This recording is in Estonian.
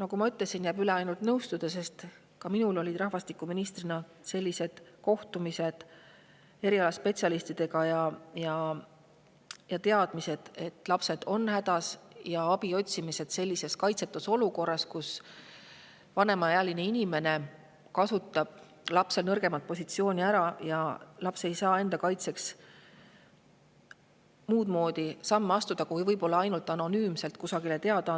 nagu ma ütlesin, jääb üle ainult nõustuda, sest ka minul toimusid rahvastikuministrina kohtumised erialaspetsialistidega ja teadmine, et lapsed on hädas ja otsitakse abi sellises kaitsetus olukorras, kus vanem inimene kasutab lapse nõrgemat positsiooni ära ja laps ei saa enda kaitseks muud moodi samme astuda, kui võib-olla ainult anonüümselt kusagile teada andes.